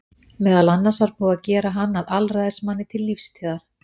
Meðal annars var búið að gera hann að alræðismanni til lífstíðar.